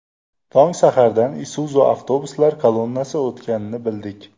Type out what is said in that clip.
Tong sahardan Isuzu avtobuslar kolonnasi o‘tganini bildik.